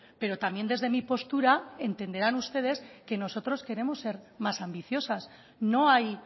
pero también desde mi postura entenderán ustedes que nosotros queremos ser más ambiciosas no hay